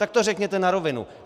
Tak to řekněte na rovinu.